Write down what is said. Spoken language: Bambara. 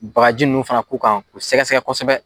Bakaji nunnu fana k'u kan k'u sɛgɛsɛgɛ kosɛbɛ